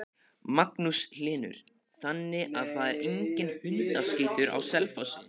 Magnús Hlynur: Þannig að það er enginn hundaskítur á Selfossi?